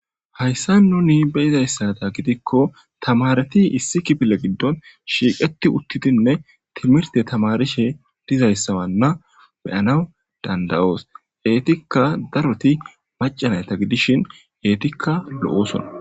Hayissan nuni beyizayissada gidikko tamareti Issi kifile gidon shiqeti utidnne timrte tamarishe dizayissawana beyanas dandayos etikka daroti maca nata gidishin etikka lo'osona